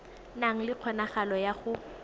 na le kgonagalo ya go